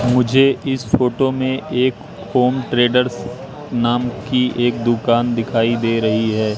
मुझे इस फोटो में एक होम ट्रेडर्स नाम की एक दुकान दिखाई दे रही है।